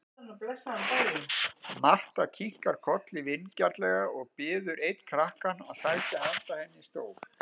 Marta kinkar kolli vingjarnlega og biður einn krakkann sækja handa henni stól.